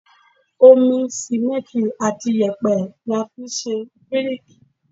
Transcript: Omi, Símẹ́ǹtì àti yèpẹ̀ ni a fi ń ṣe bíríkì.